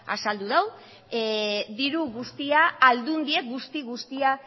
azaldu du diru guztia aldundiek guzti guztia